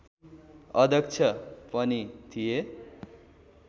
अध्यक्ष पनि थिए